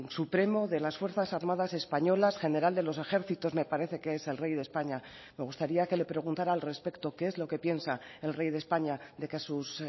supremo de las fuerzas armadas españolas general de los ejércitos me parece que es el rey de españa me gustaría que le preguntara al respecto qué es lo que piensa el rey de españa de que sus